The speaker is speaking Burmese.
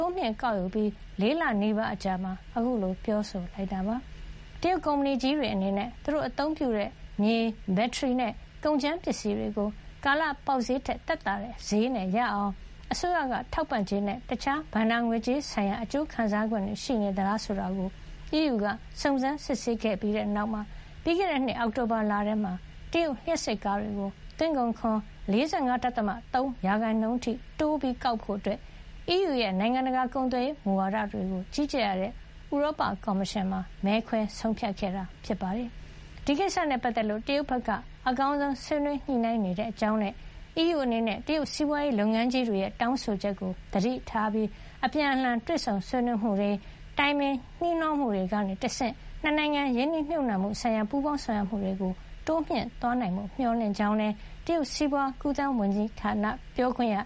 ိုးမြှင့်ကောက်ယူပြီး ၄ လနီးပါး အကြာမှာ ခုလို ပြောဆိုလိုက်တာပါ။ တရုတ်ကုမ္ပဏီကြီးတွေ အနေနဲ့ သူတို့အသုံးပြုတဲ့ မြေ၊ ဘက်ထရီ၊ နဲ့ ကုန်ကြမ်းပစ္စည်းတွေကို ကာလပေါက်စျေးထက် သက်သာတဲ့စျေးနဲ့ ရအောင် အစိုးရ ထောက်ပံ့ကြေးနဲ့ တခြား ဘဏ္ဍာငွေကြေးဆိုင်ရာ အကျိုးခံစားခွင့်တွေ ရရှိနေသလား ဆိုတာကို အီးယူက စုံစမ်း စစ်ဆေးခဲ့ပြီးတဲ့နောက် ပြီးခဲ့တဲ့နှစ် အောက်တိုဘာလမှာ တရုတ်လျှပ်စစ်ကားတွေကို သွင်းကုန်ခွန် ၄၅.၃ % အထိ တိုးကောက်ဖို့ အီးယူရဲ့ နိုင်ငံတကာ ကုန်သွယ်ရေး မူဝါဒတွေကို ကြီးကြပ်ရတဲ့ ဥရောပကော်မရှင်မှာ မဲခွဲ ဆုံးဖြတ်ခဲ့တာ ဖြစ်ပါတယ်။ ဒီကိစ္စနဲ့ ပတ်သက်လို့ တရုတ်ဘက်က အကောင်းဆုံး ဆွေးနွေးညှိနှိုင်း နေတဲ့အကြောင်းနဲ့ အီးယူ အနေနဲ့ တရုတ်စီးပွားရေးလုပ်ငန်းကြီးတွေရဲ့ တောင်းဆိုချက်ကို သတိပြုပြီး အပြန်အလှန် တွေ့ဆုံ ဆွေးနွေးမှုတွေ၊ တိုင်ပင် နှီးနှောမှုတွေ ကနေတဆင့် နှစ်နိုင်ငံ ရင်းနှီးမြှုပ်နှံမှုဆိုင်ရာ ပူးပေါင်းဆောင်ရွက်မှုတွေ တိုးမြှင့်သွားနိုင်ဖို့ မျှော်လင့်ကြောင်းလည်း တရုတ် စီးပွား ကူးသန်း ဝန်ကြီးဌာန ပြောခွင့်ရ